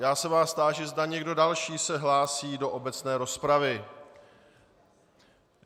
Já se vás táži, zda někdo další se hlásí do obecné rozpravy.